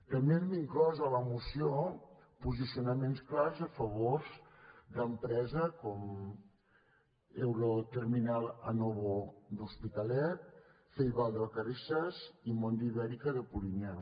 també hem inclòs a la moció posicionaments clars a favor d’empreses com euroterminal anovo de l’hospitalet faibal de vacarisses i mondi ibèrica de polinyà